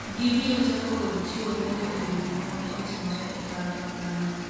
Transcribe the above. gibiro chako kod chiwo lendo ewi gima ne otimore e kalapapla no